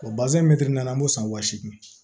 an b'o san wa seegin